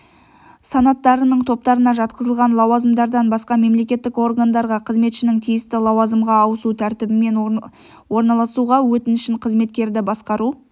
санаттарының топтарына жатқызылған лауазымдардан басқа мемлекеттік органдарға қызметшінің тиісті лауазымға ауысу тәртібімен орналасуға өтінішін қызметкерді басқару